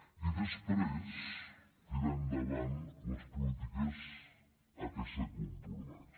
i després tirar endavant les polítiques a què s’ha compromès